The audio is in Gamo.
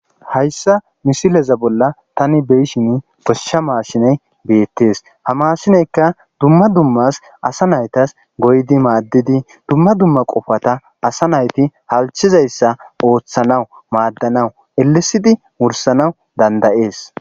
Hayssa misileza bolla tani beyshin goshsha maashiney beettees ha maashineyka dumma dummas asa naytas goydi maaddidi dumma dumma qofata asa nayti halchizayssa ooththanawu maaddanawu elesidi wursanawu dandayees.